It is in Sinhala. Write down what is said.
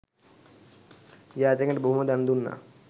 යාචකයන්ට බොහෝ දන් දුන්නා.